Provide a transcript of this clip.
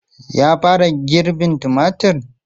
Ya fara girbin tumatir?